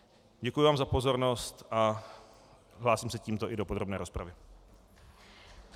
Děkuji vám za pozornost a hlásím se tímto i do podrobné rozpravy.